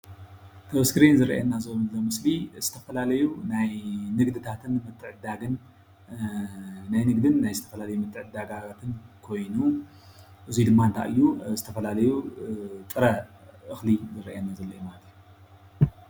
እዚ ኣብ ስክሪን ዝርአየና ዘሎ ምስሊ እዙይ ዝተፈላለዩ ናይ ንግዲ ምትዕድዳግን ናይ ንግድን ምትዕድዳግን ዓይነታት እኽሊ ጥራምረ ይሰአየና ኣሎ።